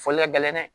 Foli ka gɛlɛn dɛ